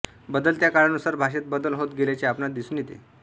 बदलत्या काळानुसार भाषेत बदल होत गेल्याचे आपणास दिसून येते